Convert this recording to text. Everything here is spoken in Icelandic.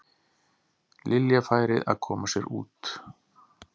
Lilja færi að koma sér út.